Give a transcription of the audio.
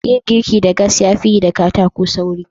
Yin girki da gas ya fi yi da katako sauri.